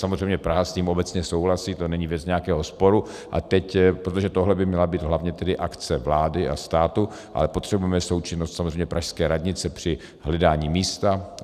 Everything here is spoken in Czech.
Samozřejmě Praha s tím obecně souhlasí, to není věc nějakého sporu, a teď, protože tohle by měla být hlavně tedy akce vlády a státu, ale potřebujeme součinnost samozřejmě pražské radnice při hledání místa.